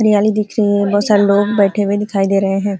हरयाली दिख रही है बहुत सारे लोग बैठे हुए दिखाई दे रहे हैं ।